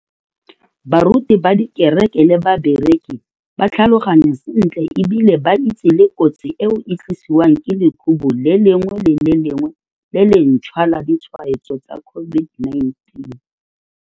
Baruti ba dikereke le bakereki ba tlhaloganya sentle e bile ba itse le kotsi eo e tlisiwang ke lekhubu le lengwe le le lengwe le lentšhwa la ditshwaetso tsa COVID-19.